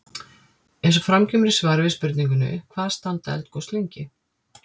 Eins og fram kemur í svari við spurningunni Hvað standa eldgos lengi?